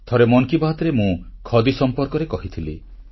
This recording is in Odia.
ଥରେ ମନ୍ କି ବାତ୍ ରେ ମୁଁ ଖଦୀ ସମ୍ପର୍କରେ କହିଥିଲି